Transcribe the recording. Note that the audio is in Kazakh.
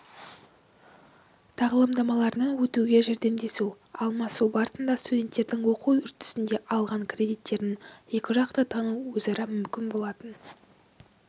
тағылымдамаларынан өтуге жәрдемдесу алмасу барысында студенттердің оқу үрдісінде алған кредиттерін екіжақты тану өзара мүмкін болатын